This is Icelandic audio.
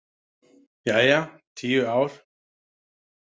Jæja, tíu ár.